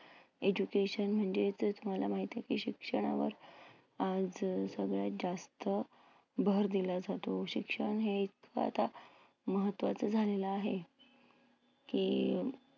education म्हणजेच तुम्हाला माहिती आहे की शिक्षणावर आज सगळ्यात जास्त भर दिला जातो. शिक्षण हे ज्यादा महत्वाचं झालेलं आहे. की